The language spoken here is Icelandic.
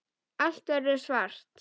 Allt verður svart.